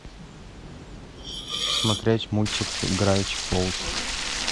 смотреть мультик гравити фолз